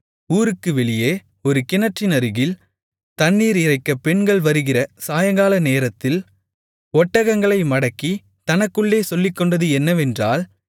ஊருக்குப் வெளியே ஒரு கிணற்றினருகில் தண்ணீர் இறைக்க பெண்கள் வருகிற சாயங்கால நேரத்தில் ஒட்டகங்களை மடக்கி தனக்குள்ளே சொல்லிக்கொண்டது என்னவென்றால்